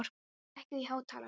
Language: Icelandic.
Korri, lækkaðu í hátalaranum.